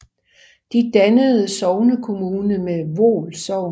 De dannede sognekommune med Voel Sogn